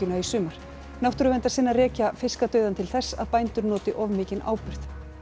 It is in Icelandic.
í sumar náttúrverndarsinnar rekja fiskadauðann til þess að bændur noti of mikinn áburð